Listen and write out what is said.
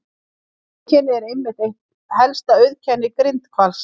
Þetta einkenni er einmitt eitt helsta auðkenni grindhvalsins.